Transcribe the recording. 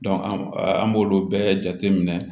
an b'olu bɛɛ jate minɛ